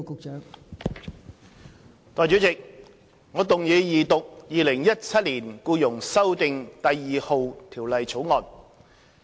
代理主席，我動議二讀《2017年僱傭條例草案》。